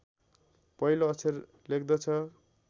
पहिलो अक्षर लेख्दछ